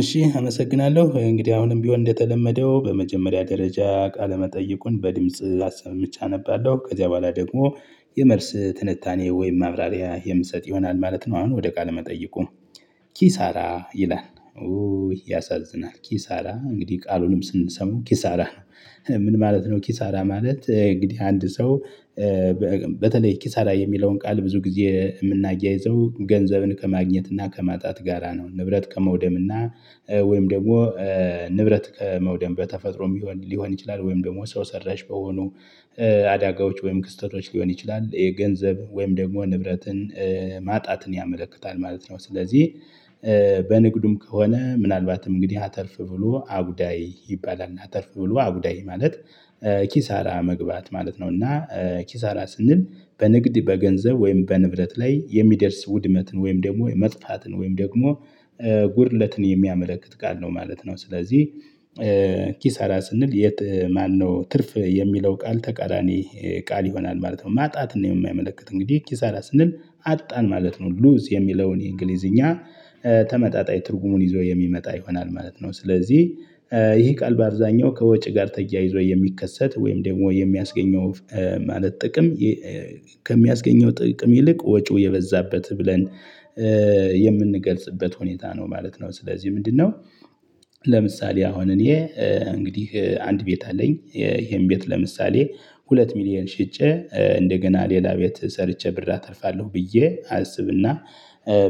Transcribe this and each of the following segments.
እሺ አመሰግናለሁ እንግዲህ አሁንም ቢሆን እንደተለመደው በመጀመሪያ ደረጃ ቃለመጠየቁን በድምጽ አሰምቼ አነባለሁ ከዚያ በኋላ ደግሞ የመልስ ትንታኔ ወይም ማብራሪያ የምሰጥ ይሆናል ማለት ነው። አሁን ወደ ቃል መጠይቁ ኪሳራ ይላል ኡይ ያሳዝናል ኪሳራ እንግዲህ ቃሉንም ስንሰማው ኪሳራ ነው። ምን ማለት ነው? ኪሳራ ማለት እንግዲህ አንድ ሰው በተለይ ኪሳራ የሚለውን ቃል ብዙ ጊዜ የምናያይዘው ገንዘብን ከማግኘት እና ከማጣት ጋራ ነው። ንብረት ከመውደም እና ወይም ደግሞ ንብረት ከመውደም በተፈጥሮ ሊሆን ይችላል ወይም ደግሞ ሰው ሰራሽ በሆኑ አዳጋዎች ወይም ክስተቶች ሊሆን ይችላል የገንዘብ ወይም ደግሞ ንብረትን ማጣትን ያመለክታል ማለት ነው። ስለዚህ በንግዱም ከሆነ ምናልባትም እንግዲህ አተርፍ ብሎ አጉዳይ ይባላልና አተርፍ ብሎ አጉዳይ ማለት ኪሳራ መግባት ማለት ነው። እና ኪሳራ ስንል በንግድ በገንዘብ ወይም በንብረት ላይ የሚደርስ ውድመትን ወይም ደግሞ መጥፋትን ወይም ደግሞ ጉድለትን የሚያመለክት ቃል ነው ማለት ነው። ስለዚህ ኪሳራ ስንል የት ማነው ትርፍ የሚለው ቃል ተቃራኒ ቃል ይሆናል ማለት ነው። ማጣትን ነው የሚያመለክት እንግዲህ ኪሳራ ስንል አጣን ማለት ነው ሉዝ የሚለውን የእንግሊዝኛ ተመጣጣኝ ትርጉሙን ይዞ የሚመጣ ይሆናል ማለት ነው። ስለዚህ ይሄ ቃል በአብዛኛው ከወጪ ጋር ተያይዞ የሚከሰት ወይም ደግሞ የሚያስገኘው ማለት ጥቅም ከሚያስገኘው ጥቅም ይልቅ ወጪው የበዛበት ብለን የምንገልጽበት ሁኔታ ነው ማለት ነው። ስለዚህ ምንድነው? ለምሳሌ አሁን እኔ እንግዲህ አንድ ቤት አለኝ ይሄን ቤት ለምሳሌ ሁለት ሚሊየን ሽጬ እንደገና ሌላ ቤት ሰርቼ ብር አተርፋለሁ ብዬ አስብና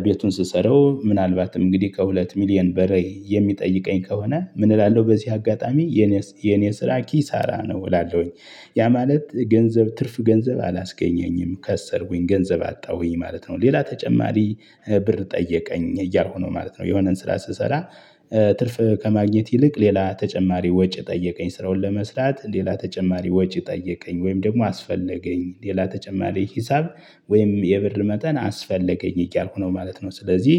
ቤቱን ስሰራው ምናልባትም እንግዲህ ከሁለት ሚሊየን በላይ የሚጠይቀኝ ከሆነ ምን እላለሁ በዚህ አጋጣሚ የኔ ስራ ኪሳራ ነው እላለሁኝ። ያ ማለት ገንዘብ ትርፍ ገንዘብ አላስገኘኝም ከሰርኩኝ ገንዘብ አጣሁኝ ማለት ነው። ሌላ ተጨማሪ ብር ጠየቀኝ እያልሁ ነው ማለት ነው። የሆነን ስራ ስሰራ ትርፍ ከማግኘት ይልቅ ሌላ ተጨማሪ ወጪ ጠየቀኝ ስራውን ለመስራት ሌላ ተጨማሪ ወጪ ጠየቀኝ ወይም ደግሞ አስፈለገኝ ሌላ ተጨማሪ ሂሳብ ወይም የብር መጠን አስፈለገኝ እያልኩ ነው ማለት ነው። ስለዚህ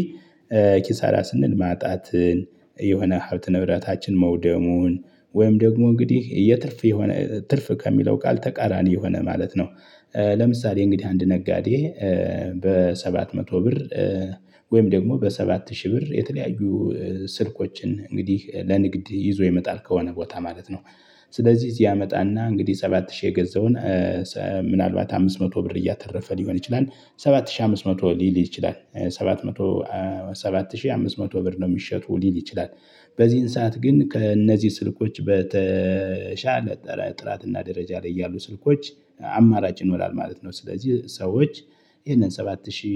ኪሳራ ስንል ማጣትን የሆነ ሀብት ንብረታችን መውደሙን ወይም ደግሞ እንግዲህ የትርፍ የሆነ ትርፍ ከሚለው ቃል ተቃራኒ የሆነ ማለት ነው። ለምሳሌ እንግዲህ አንድ ነጋዴ በሰባት መቶ ብር ወይም ደግሞ በሰባት ሺህ ብር የተለያዩ ስልኮችን እንግዲህ ለንግድ ይዞ ይመጣል ከሆነ ቦታ ማለት ነው። ስለዚህ እዚህ ያመጣና እንግዲህ ሰባት ሺህ የገዛውን ምናልባት አምስት መቶ ብር እያተረፈ ሊሆን ይችላል። ሰባት ሺህ አምስት መቶ ሊል ይችላል ሰባት መቶ ሰባት ሺህ አምስት መቶ ብር ነው የሚሸጡ ሊል ይችላል። በዚህን ሰዓት ግን ከእነዚህ ስልኮች በተሻለ ጥራትና ደረጃ ላይ ያሉ ስልኮች አማራጭ ይኖራል ማለት ነው። ስለዚህ ሰዎች ይሄንን ሰባት ሺ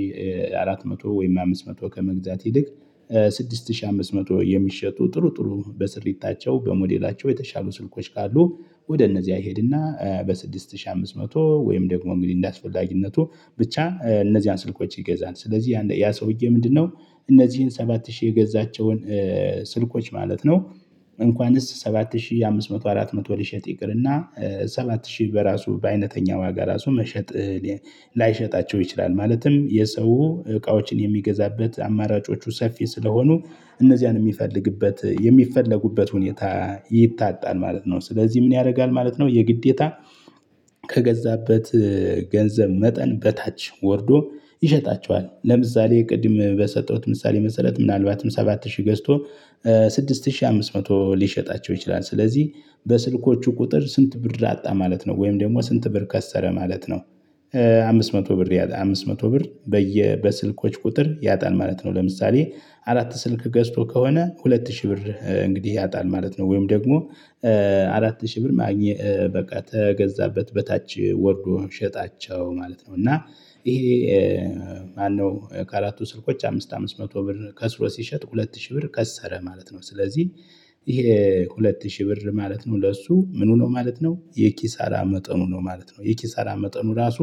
አራት ወይም አምስት መቶ ከመግዛት ይልቅ ስድስት ሺህ አምስት መቶ የሚሸጡ ጥሩ ጥሩ በስሪታቸው በሞዴላቸው የተሻሉ ስልኮች ካሉ ወደ እነዚያ ይሄድና በስድስት ሺህ አምስት መቶ ወይም ደግሞ እንግዲህ እንደ አስፈላጊነቱ ብቻ እነዚህን ስልኮች ይገዛል ስለዚህ ያ ሰውዬ ምንድነው? እነዚህን ሰባት ሺ የገዛቸውን ስልኮች ማለት ነው። እንኳንስ ሰባት ሺህ አምስት መቶ አራት መቶ ልሸጥ ይቅርና ሰባት ሺህ በራሱ በአይነተኛ ዋጋ ራሱ መሸጥ ላይሸጣቸው ይችላል ማለትም የሰው እቃዎችን የሚገዛበት አማራጮቹ ሰፊ ስለሆኑ እነዚያን የሚፈልግበት የሚፈለጉበት ሁኔታ ይታጣል ማለት ነው። ስለዚህ ምን ያደርጋል ማለት ነው። የግዴታ ከገዛበት ገንዘብ መጠን በታች ወርዶ ይሸጣቸዋል ለምሳሌ ቅድም በሰጠሁት ምሳሌ መሰረት ምናልባትም ሰባት ሺህ ገዝቶ ስድስት ሺህ አምስት መቶ ሊሸጣቸው ይችላል። ስለዚህ በስልኮቹ ቁጥር ስንት ብር አጣ ማለት ነው ወይም ደግሞ ስንት ብር ከሰረ ማለት ነው። አምስት መቶ ብር አምስት መቶ ብር በየ በስልኮች ቁጥር ያጣል ማለት ነው። ለምሳሌ አራት ስልክ ገዝቶ ከሆነ ሁለት ሺህ ብር እንግዲህ ያጣል ማለት ነው። ወይም ደግሞ አራት ሺህ ብር ማግኘት በቃ ተገዛበት በታች ወርዶ ሸጣቸው ማለት ነው። እና ይሄ ማነው ካራቱ ስልኮች አምስት አምስት መቶ ብር ከስሮ ሲሸጥ ሁለት ሺህ ብር ከሰረ ማለት ነው። ስለዚህ ይሄ ሁለት ሺህ ብር ማለት ነው ለእሱ ምኑ ነው ማለት ነው የኪሳራ መጠኑ ነው ማለት ነው። የኪሳራ መጠኑ ራሱ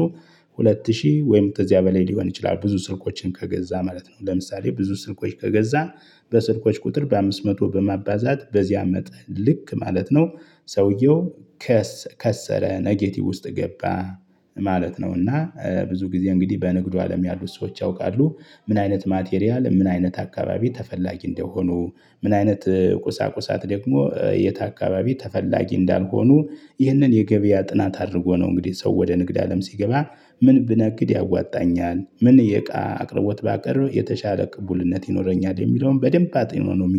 ሁለት ሺህ ወይም በዚያ በላይ ሊሆን ይችላል። ብዙ ስልኮችን ከገዛ ማለት ነው። ለምሳሌ ብዙ ስልኮች ከገዛ በስልኮች ቁጥር በአምስት መቶ በማባዛት በዚያም መጠን ልክ ማለት ነው። ሰውየው ከሰረ ኔጌቲቭ ውስጥ ገባ ማለት ነውና። ብዙ ጊዜ እንግዲህ በንግዱ አለም ያሉ ሰዎች ያውቃሉ። ምን አይነት ማቴሪያል ምን አይነት አካባቢ ተፈላጊ እንደሆኑ ምን አይነት ቁሳቁሳት ደግሞ የት አካባቢ ተፈላጊ እንዳልሆኑ ይህንን የገበያ ጥናት አድርጎ ነው እንግዲህ ሰው ወደ ንግድ አለም ሲገባ ምን ብነግድ ያዋጣኛል ምን የእቃ አቅርቦት ባቀረብ የተሻለ ቅቡልነት ይኖረኛል የሚለውን በደንብ አጢነው ነው